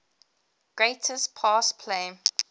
greatest pass play